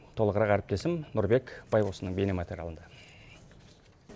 толығырақ әріптесім нұрбек байбосынның бейнематериалында